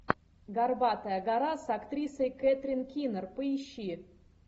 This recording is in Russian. горбатая гора с актрисой кэтрин кинер поищи